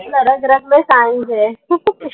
रग रग मे science है